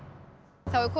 þá er komið